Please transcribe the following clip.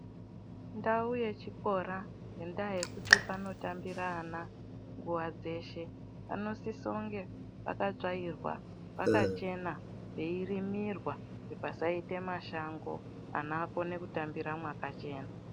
Ndau yechikora ngendaa yekuti panotambira ana nguwa dzeshe panosiso kunge pakatsvairwa pakachena peirimirwa kuti pasaite mashango ana akone kutambira mwakachena.